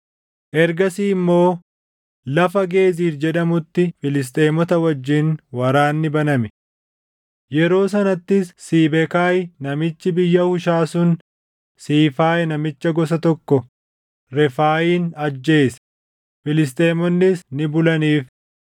Ergasii immoo lafa Geezir jedhamutti Filisxeemota wajjin waraanni baname. Yeroo sanattis Siibekaay namichi biyya Hushaa sun Siifaay namicha gosa tokko Refaayin ajjeese; Filisxeemonnis ni bulaniif.